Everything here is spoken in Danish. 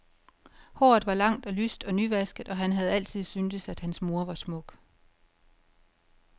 Håret var langt og lyst og nyvasket og han havde altid syntes at hans mor var smuk.